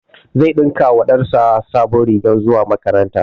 Zai ɗinka wa ɗan sa sabon rigar makaranta